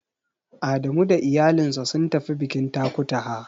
Adamu da iyalinsa sun tafi bikin Takutaha.